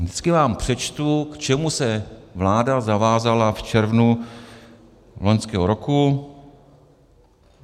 Vždycky vám přečtu, k čemu se vláda zavázala v červnu loňského roku.